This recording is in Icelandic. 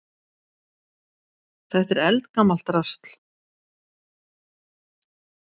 Þetta er eldgamalt drasl.